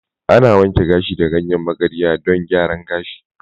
Ana wanke gashi da ganyen magarya don gyaran gashi.